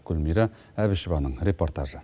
гүлмира әбішеваның репортажы